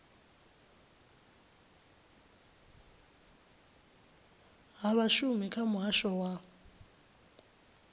ha vhashumi kha muhasho wa